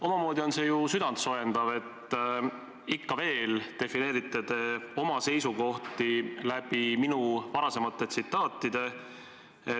Omamoodi on see ju südant soojendav, et te ikka veel selgitate oma seisukohti, viidates minu varasematele tsitaatidele.